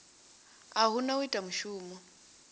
u hana u ita mushumo